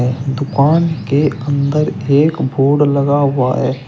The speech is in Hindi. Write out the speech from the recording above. एक दुकान के अंदर एक बोर्ड लगा हुआ है।